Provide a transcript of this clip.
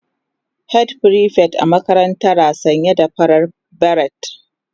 Head prefect a makarantara sanye da farar beret